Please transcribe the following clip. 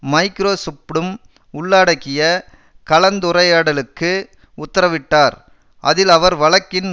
மைக்ரோசொப்டும் உள்ளாடக்கிய கலந்துரையாடலுக்கு உத்தரவிட்டார் அதில் அவர் வழக்கின்